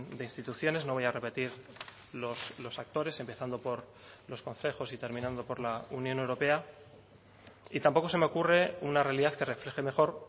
de instituciones no voy a repetir los actores empezando por los concejos y terminando por la unión europea y tampoco se me ocurre una realidad que refleje mejor